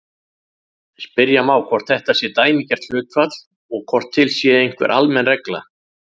Spyrja má hvort þetta sé dæmigert hlutfall og hvort til sé einhver almenn regla.